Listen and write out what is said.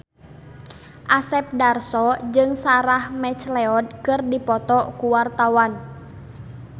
Asep Darso jeung Sarah McLeod keur dipoto ku wartawan